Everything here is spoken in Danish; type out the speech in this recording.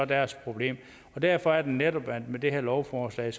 deres problem derfor er det netop at der med det her lovforslag